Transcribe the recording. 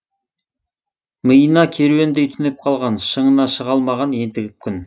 миына керуендей түнеп қалған шыңына шыға алмаған ентігіп күн